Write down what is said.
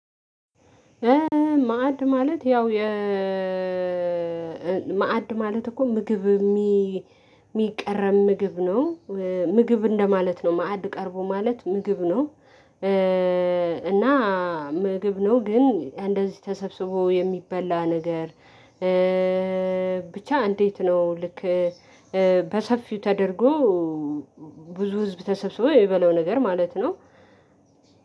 ማዕድ ማለት እኮ ምግብ የሚ የሚቀረብ ምግብ ነው ምግብ እንደማለት ነው ማዕድ ቀርቦ ማለት ምግብ ነው። እና ምግብ ነው ግን እንደዚህ ተሰብስቦ የሚበላ ነገር። ብቻ እንዴት ነው? ልክ በሰፊው ተደርጎ ብዙ ህዝብ ተሰብስቦ የሚበላው ነገር ማለት ነው።